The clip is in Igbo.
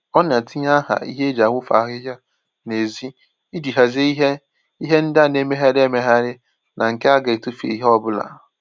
Ọ na-etinye aha n'ihe eji awufu ahịhịa n'ezi iji hazie ihe ihe ndị a na-emegharị emegharị ná nke a ga etufu ìhè ọbụla